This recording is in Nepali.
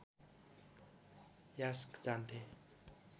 यास्क जान्थे